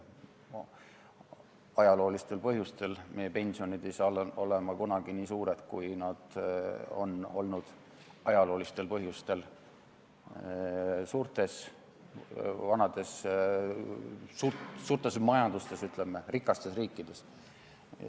Ajaloolistel põhjustel ei saa meie pensionid olla kunagi nii suured, kui nad on samadel põhjustel olnud vanades suurtes majandustes, rikastes riikides.